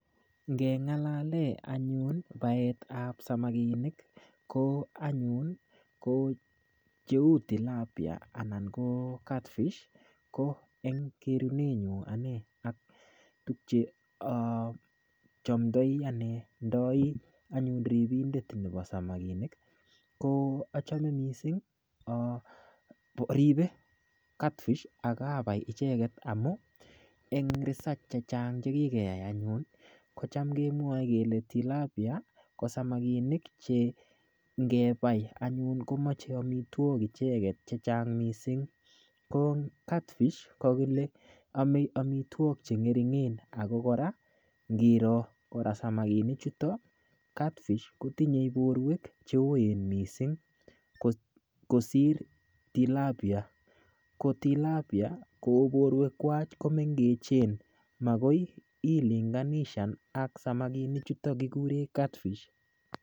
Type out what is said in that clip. Ngelalee anyun paet ap samakinik ko anyun ko cheu tilapia anan ko catfish ko eng kerune nyu ane aktukche achamtoi ndai anyun ripindet nepo samakinik ko achame mising aripe catfish akapai icheket amu eng research chechang chekikeyai anyun kocham kemwoe kele tilapia ko samakinik che ngepai anyun komochei omitwok icheket chechang mising ko catfish kakile ame amitwok chengeringen akokora ngiro kora samakinik chuto catfish kotinyei porwek cheoen mising kosir tilapia ko tilapia kou porwek kwach komengechen makoi ilinganishan ak samakinik chuto kikure catfish